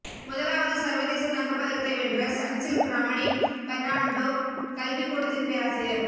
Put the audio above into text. முதலாவது சர்வதேச தங்கப்பதக்கத்தை வென்ற சன்சில்க் ரமணி பெர்ணான்டோ கல்விக்கூடத்தின் பேராசிரியர்